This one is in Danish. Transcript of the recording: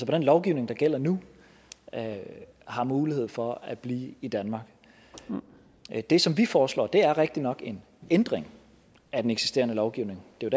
den lovgivning der gælder nu har mulighed for at blive i danmark det som vi foreslår er rigtigt nok en ændring af den eksisterende lovgivning det er